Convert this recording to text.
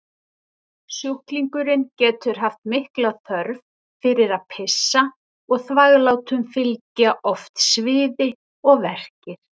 Sjúklingurinn getur haft mikla þörf fyrir að pissa og þvaglátum fylgja oft sviði og verkir.